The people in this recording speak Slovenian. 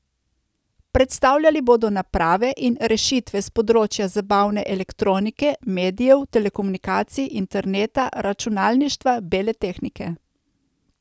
Predstavljali bodo naprave in rešitve s področja zabavne elektronike, medijev, telekomunikacij, interneta, računalništva, bele tehnike.